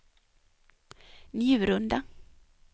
Njurunda